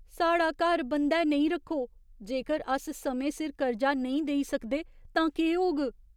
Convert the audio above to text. साढ़ा घर बंद्धै नेईं रक्खो। जेकर अस समें सिर कर्जा नेईं देई सकदे तां केह् होग?